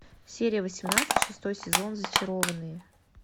серия восемнадцать шестой сезон зачарованные